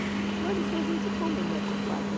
Eu disse, olha, isso a gente come, meu compadre.